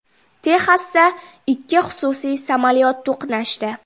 Texasda ikki xususiy samolyot to‘qnashdi .